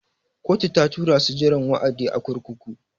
Kotu ta tura su jiran wa'adi a kurkuku.